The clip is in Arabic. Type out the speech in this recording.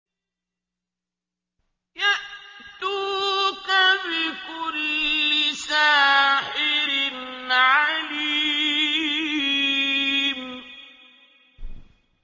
يَأْتُوكَ بِكُلِّ سَاحِرٍ عَلِيمٍ